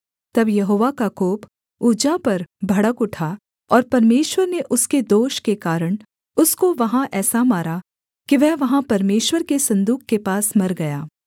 तब यहोवा का कोप उज्जा पर भड़क उठा और परमेश्वर ने उसके दोष के कारण उसको वहाँ ऐसा मारा कि वह वहाँ परमेश्वर के सन्दूक के पास मर गया